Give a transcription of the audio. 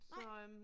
Nej